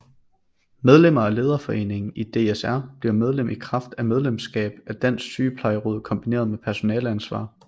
Medlemmer af Lederforeningen i DSR bliver medlem i kraft af medlemskab af Dansk Sygeplejeråd kombineret med personaleansvar